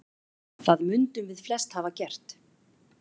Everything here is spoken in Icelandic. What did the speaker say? Það mundum við flest hafa gert.